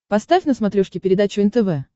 поставь на смотрешке передачу нтв